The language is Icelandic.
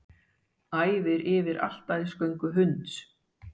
Æfir yfir altarisgöngu hunds